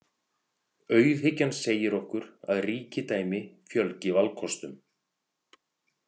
Auðhyggjan segir okkur að ríkidæmi fjölgi valkostum.